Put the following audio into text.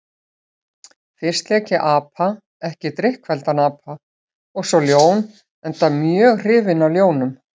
Fyrst lék ég apa, ekki drykkfelldan apa, og svo ljón, enda mjög hrifinn af ljónum.